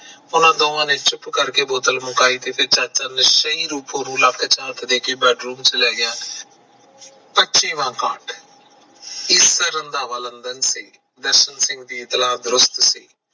ਉਹਨਾਂ ਦੋਵਾਂ ਨੇ ਚੁੱਪ ਕਰਕੇ ਬੋਤਲ ਮੰਗਾਈ ਤੇ ਚਾਚਾ ਮਸਾ ਰੂਪੋਂ ਨੂੰ ਹੱਥ ਲਾ ਕੇ bed room ਚ ਲੈ ਗਿਆ ਇਸ ਤਰਾਂ ਰੰਧਾਵਾ ਲੰਡਨ ਚ ਸੀ ਦਰਸ਼ਨ ਸਿੰਘ ਦੀ ਤਰਾਂ ਦਰੁਸਤ ਸੀ